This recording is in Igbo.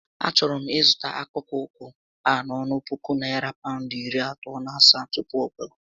A chọrọ m ịzụta akpụkpọ ụkwụ a n'ọnụ puku narị Pawụndụ iri atọ na asaá tupu ọ gbagoo